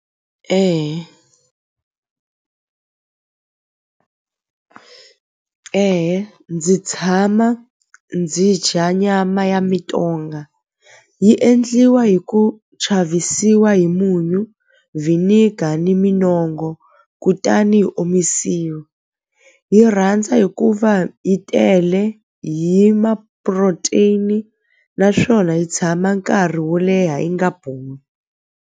ndzi tshama ndzi dya nyama ya mintonga yi endliwa hi ku chavisiwa hi munyu vinegar ni minongo kutani yi omisiwa hi rhandza hikuva yi tele hi ma-protein naswona yi tshama nkarhi wo leha yi nga boli.